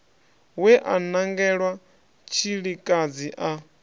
we a nangelwa tshilikadzi a